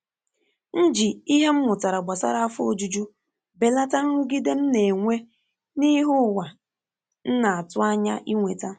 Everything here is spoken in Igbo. M ji ìhè m mụtara gbasara afọ ojuju belata nrụgide m na-enwe n’ihe ụwa nna atụ anya inweta.